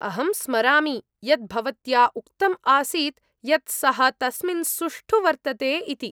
अहं स्मरामि यत् भवत्या उक्तम् आसीत् यत् सः तस्मिन् सुष्ठु वर्तते इति।